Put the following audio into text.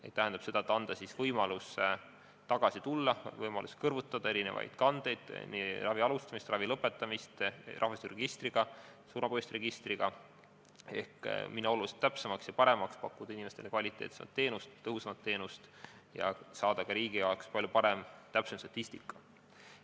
See tähendab, et tuleb anda võimalus tulla tagasi algandmete juurde, kõrvutada eri kandeid – nii ravi alustamise kui ka ravi lõpetamise kohta – rahvastikuregistriga ja surma põhjuste registriga ehk muuta register oluliselt täpsemaks ja paremaks, pakkuda inimestele kvaliteetsemat teenust, tõhusamat teenust ning saada ka riigi heaks palju täpsemat statistikat.